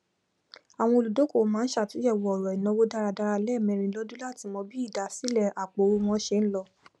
àwọn olùdókòwò má n sàtúnyẹwò ọrọ ìnáwó dáradára lẹẹmẹrin lọdún látí mọ bí ìdásílẹ àpò owó wọn ṣe ń lọ